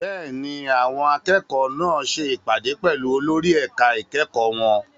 Bẹ́ẹ̀ni, àwọn akẹ́kọ̀ọ́ náà ṣe ìpàdé pẹ̀lú olórí ẹ̀ka ìkẹ́kọ̀ọ́ wọn.